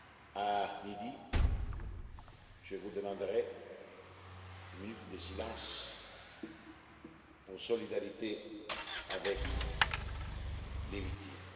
À midi, je vous demanderai une minute de silence en solidarité avec les victimes.